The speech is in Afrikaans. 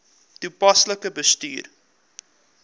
toepaslik bestuur